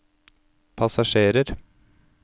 passasjerer